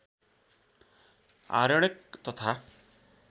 आरण्यक तथा